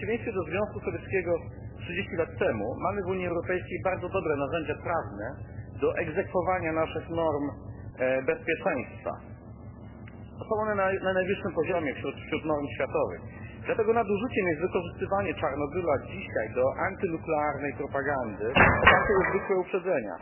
W przeciwieństwie do Związku Sowieckiego 30 lat temu mamy w Unii Europejskiej bardzo dobre narzędzia prawne do egzekwowania naszych norm bezpieczeństwa. Są one na najwyższym poziomie wśród norm światowych, dlatego nadużyciem jest wykorzystywanie Czarnobyla dzisiaj do antynuklearnej propagandy opartej o zwykle uprzedzenia.